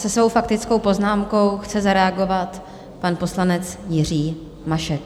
Se svou faktickou poznámkou chce zareagovat pan poslanec Jiří Mašek.